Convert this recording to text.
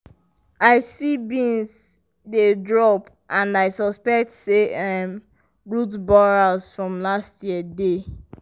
i see beans dey drop and i suspect say um root borers from last year dey.